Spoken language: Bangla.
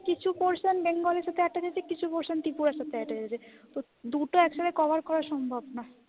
কিছু portion বেঙ্গলি সাথে attach আছে, কিছু portion ত্রিপুরার সাথে attach আছে। তো দুটো একসাথে cover করা সম্ভব না।